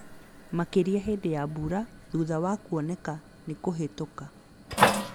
Makĩria hĩndĩ ya mbura, na thutha wa kuoneka nĩ kũhĩtũka